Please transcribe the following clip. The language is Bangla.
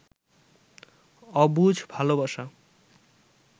অবুঝ ভালবাসা